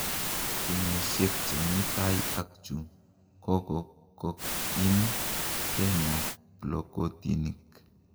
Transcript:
Kenyishek chemi tai ak chu kokokoim Kenya plokotinik